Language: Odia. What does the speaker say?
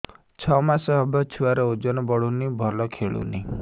ଛଅ ମାସ ହବ ଛୁଆର ଓଜନ ବଢୁନି ଭଲ ଖେଳୁନି